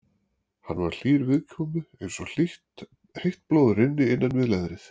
Hann var hlýr viðkomu eins og heitt blóð rynni innan við leðrið.